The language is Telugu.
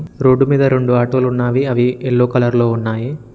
రోడ్డు మీద రెండు ఆటోలు ఉన్నావి అవి ఎల్లో కలర్ లో ఉన్నాయి.